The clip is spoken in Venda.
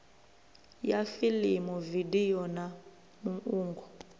ya fiḽimu vidio na muungo